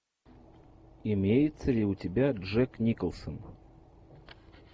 имеется ли у тебя джек николсон